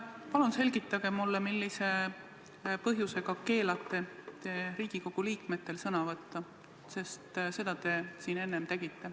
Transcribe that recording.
Palun selgitage mulle, millise põhjusega te keelate Riigikogu liikmetel sõna võtta, sest seda te siin enne tegite.